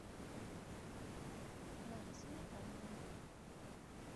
ларисой витальевной